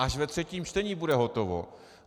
Až ve třetím čtení bude hotovo.